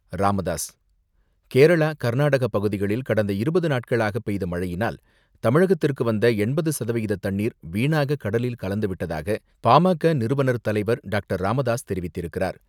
ராமதாஸ் கேரளா, கர்நாடக பகுதிகளில் கடந்த இருபது நாட்களாக பெய்த மழையினால் தமிழகத்திற்கு வந்த எண்பது சதவிகித தண்ணீர் வீணாக கடலில் கலந்துவிட்டதாக, பா.ம.க.நிறுவனர் தலைவர் டாக்டர்.ராமதாஸ் தெரிவித்திருக்கிறார்.